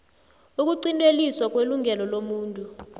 ukuqinteliswa kwelungelo lomuntu